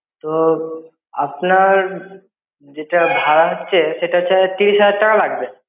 তো, আপনার যেটা ভাড়া হচ্ছে, সেটা হচ্ছে তিরিশ হাজার টাকা লাগবে।